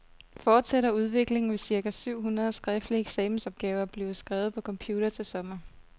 Fortsætter udviklingen, vil cirka syv hundrede skriftlige eksamensopgaver blive skrevet på computer til sommer.